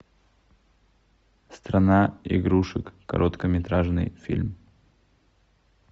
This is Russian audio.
страна игрушек короткометражный фильм